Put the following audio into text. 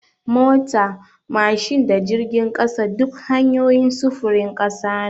Mota, mashin da jirgin ƙasa duk hanyoyin sufurin ƙasa ne.